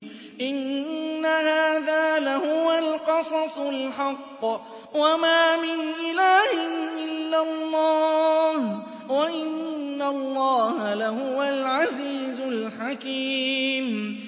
إِنَّ هَٰذَا لَهُوَ الْقَصَصُ الْحَقُّ ۚ وَمَا مِنْ إِلَٰهٍ إِلَّا اللَّهُ ۚ وَإِنَّ اللَّهَ لَهُوَ الْعَزِيزُ الْحَكِيمُ